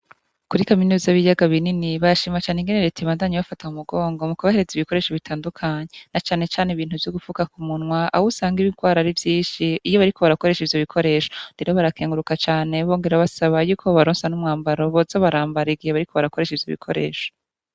Kuri kaminuza y'ibiyaga binini barashima cane ingene reta iguma ibafata mu mugongo mu kubahereza ibikoresho vyo mu bwoko butandukanye na cane cane ivyo gufuka ku munwa ah'usanga ibirwara ari vynshi iyo bariko barakoresha ivyo bikoresho, rero barakenguruka cane bongera basaba yuko boronswa n'umwambaro boza barambara igihe bariko barakoresha ivyo bikoresho.